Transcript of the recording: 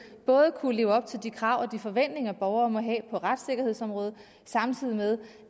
både kunne leve op til de krav og de forventninger borgere må have på retssikkerhedsområdet samtidig med